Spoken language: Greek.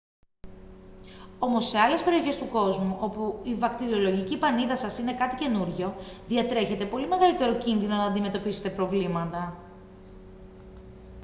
όμως σε άλλες περιοχές του κόσμου όπου η βακτηριολογική πανίδα σας είναι κάτι καινούργιο διατρέχετε πολύ μεγαλύτερο κίνδυνο να αντιμετωπίσετε προβλήματα